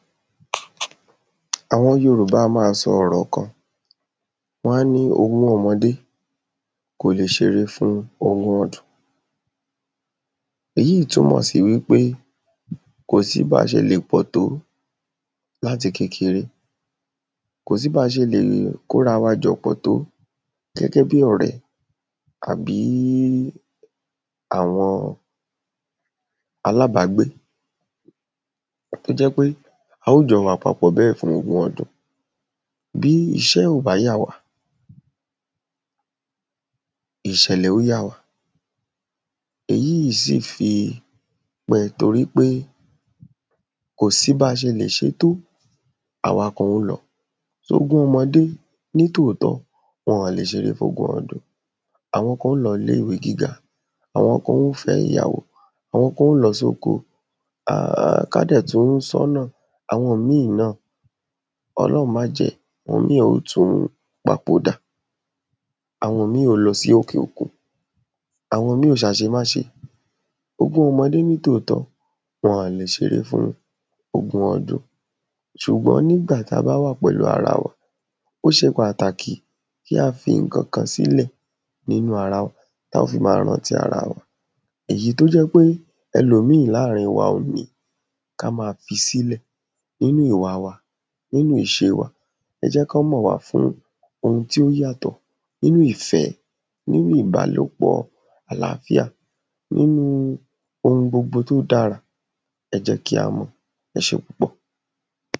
àwọn yorùbá a máa sọ ọ̀rọ̀ kan, wán ni ogún ọmọdé kò le ṣeré fún ogún ọdún. èyíì í túnmọ̀ sí wípé kòsí báa ṣe lè pọ̀ tó láti kékeré, kòsí báa ṣe lè kórawajọpọ̀ tó gẹ́gẹ́ bí ọ̀rẹ́ àbí àwọn alábágbé, tó jẹ́ pé a ó jọ wà papọ̀ bẹ́ẹ̀ fógún ọdún. bí iṣẹ́ ò bá yà wá, ìṣẹ̀lẹ̀ ó yà wá. èyíì sì fi pẹ tórí pé kòsí ba ṣe lè ṣe tó, àwa kan ó lọ, ogún ọmọdé nítòótọ́ wọn ò lè ṣeré fógún ọdún, àwọn kan ó lọ ilé ìwé gíga, àwọn kan ó fẹ́ ìyàwó, àwọn kan ó lọ sóko, ká dẹ̀ tún sọ́ náà, àwọn míì náà, ọlọ̀hun májẹ́, àwọn míì ó ò tún papòdà. àwọn míì ó lọ sí òkè òkun, àwọn míì ó ṣàṣemáṣe, ogún ọmọdé nítòótọ́ wọn ò lè ṣeré fún ogun ọdún. ṣùgbọ́n nígbà ta bá wà pẹ̀lú arawa, ó ṣe pàtàkì kí a fi ǹkankan sílẹ̀ nínú ara ta ó fi máa rántí arawa, èyí tó jẹ́ pé ẹlòmíì láàrín wa ò ní, ká ma fi sílẹ̀. nínú ìwa wa, nínú ìṣe wa, ẹ jẹ́ kán mọ̀ wá fún ohun tí ó yàtọ̀. nínú ìfẹ́, nínú ìbálòpọ̀ àláfíà, nínúu ohun gbogbo tó dára, ẹ̀ jẹ́ kí a mọ̀. ẹṣé púpọ̀.